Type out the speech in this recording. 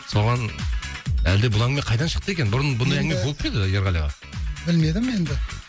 соған әлде бұл әңгіме қайдан шықты екен бұрын енді бұндай әңгіме болып па еді ерғали аға білмедім енді